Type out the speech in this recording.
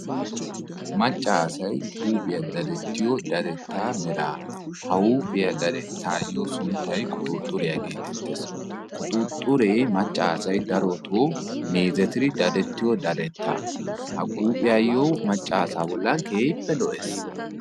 macca assay huuphiya dadetiyo dadetta merra ha huuphiya dadettayo sunttay quxuxiriya geetetessi quxuxure darotto macca assay meezettidi dadettiyo dadetta gidishin ikka eta bollani keehipe lo"eesi.